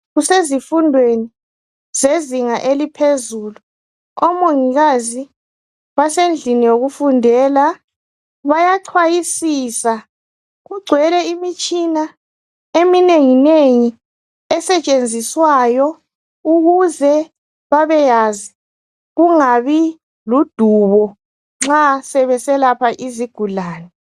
Kusezifundweni sezinga eliphezulu omongikazi basendlini yokufundela bayaxhwayisa kungcwele imitshina eminengi nengi asentshenziswayo ukuze bebeyazi kungabi ludubo nxa sebeselapha izigulani